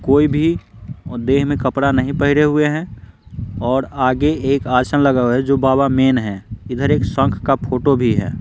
कोई भी देह में कपड़ा नहीं पहरे हुए हैं और आगे एक आसन लगा हुआ है जो बाबा मेन हैं इधर एक शंख का फोटो भी है।